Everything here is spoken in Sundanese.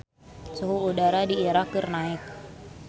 Suhu udara di Irak keur naek